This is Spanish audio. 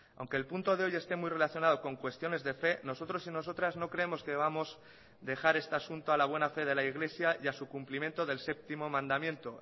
aunque el punto de hoy esté muy relacionado con cuestiones de fe nosotros y nosotras no creemos que vamos dejar este asunto a la buena fe de la iglesia y a su cumplimiento del séptimo mandamiento